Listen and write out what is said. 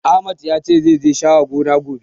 Ahmad ya ce, zai je ya share gonar, gobe.